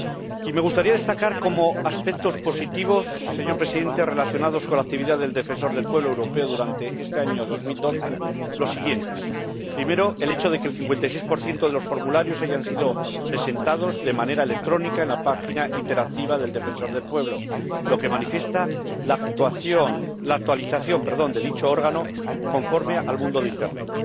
Y me gustaría destacar, señor Presidente, como aspectos positivos relacionados con la actividad del Defensor del Pueblo Europeo durante este año 2012 los siguientes primero, el hecho de que el 56 de los formularios hayan sido presentados de manera electrónica en la página interactiva del Defensor del Pueblo Europeo, lo que manifiesta la actualización de dicho órgano conforme al mundo de Internet